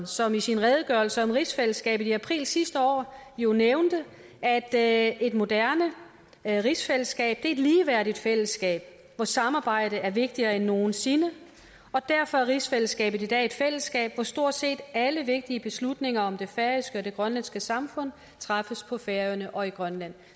som i sin redegørelse om rigsfællesskabet i april sidste år jo nævnte at et moderne rigsfællesskab et ligeværdigt fællesskab hvor samarbejde er vigtigere end nogen sinde og derfor er rigsfællesskabet i dag et fællesskab hvor stort set alle vigtige beslutninger om det færøske samfund og det grønlandske samfund træffes på færøerne og i grønland